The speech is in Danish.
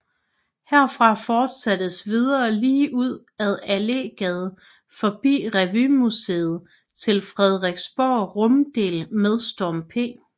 Herfra fortsattes videre ligeud ad Allégade forbi Revymuseet til Frederiksberg Runddel med Storm P